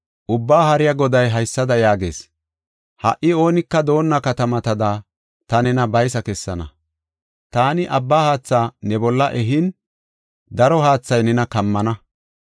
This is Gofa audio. Ubbaa Haariya Goday haysada yaagees: “Ha77i oonika doonna katamatada ta nena baysa kessana. Taani abba haatha ne bolla ehin, daro haathay nena kammana.